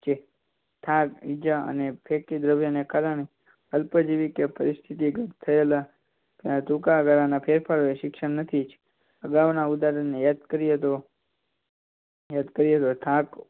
થાક જેઆ ફેકી દ્રવ્યો કારણે અલ્પ જીવી કે પરિસ્થિતિ ઘટ થયેલા ટૂંકાગાળાના ફેરફાર શિક્ષણ નથી અગાઉના ઉદાહરણ ને એડ કરીએ તો એડ કરીએ તો